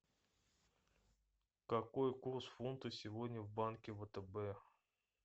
какой курс фунта сегодня в банке втб